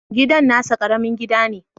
Gidan nasa Karamin gida ne